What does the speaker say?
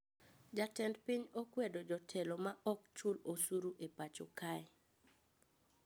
Jatend piny okwedo jotelo ma okchul osuru e pacho kae